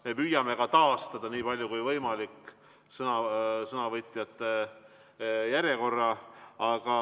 Me püüame ka taastada nii palju kui võimalik sõnavõtjate järjekorra.